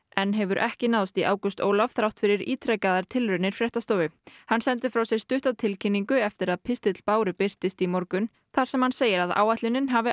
enn hefur ekki náðst í Ágúst Ólaf þrátt fyrir ítrekaðar tilraunir fréttastofu hann sendi frá sér stutta tilkynningu eftir að pistill Báru birtist í morgun þar sem hann segir að ætlunin hafi